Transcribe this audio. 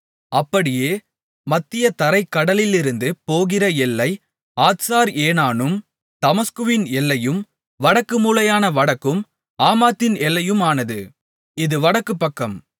அப்படியே மத்திய தரைக் கடலிலிருந்து போகிற எல்லை ஆத்சார் ஏனானும் தமஸ்குவின் எல்லையும் வடக்கு மூலையான வடக்கும் ஆமாத்தின் எல்லையுமானது இது வடக்கு பக்கம்